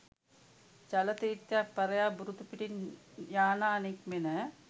ජල තීර්ථයන් පරයා බුරුතු පිටින් යානා නික්මෙන